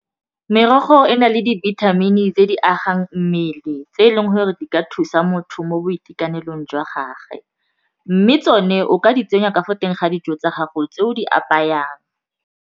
Merogo e na le dibithamini tse di agang mmele tse e leng gore di ka thusa motho mo boitekanelong jwa gagwe mme tsone o ka di tsenya ka fo teng ga dijo tsa gago tse o di apayang.